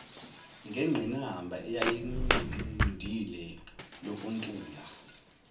ngengqinamba eyayimnqindile yokuntula